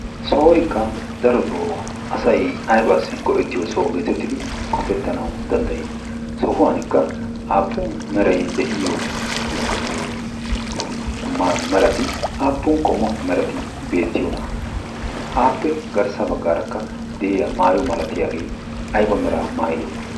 sohoykka darotoo asai aibaassi goyettiyo soo geetettidi qofettanau danddayii sohuwankka aappun merai de'iyo merati aappun qommo merati beettiyoona aappe garssa baggaarakka de'iya maayo malatiyaagee aiba meraa maayide?